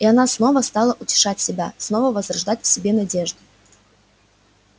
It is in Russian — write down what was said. и она снова стала утешать себя снова возрождать в себе надежды